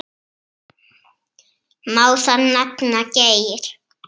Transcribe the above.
Rauða kross félags.